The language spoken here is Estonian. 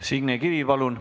Signe Kivi, palun!